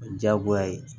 O ye diyagoya ye